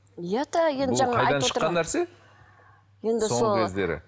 иә да нәрсе соңғы кездері